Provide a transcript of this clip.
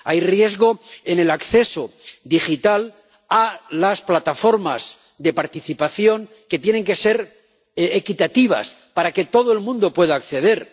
Hay riesgo en el acceso digital a las plataformas de participación, que tienen que ser equitativas para que todo el mundo pueda acceder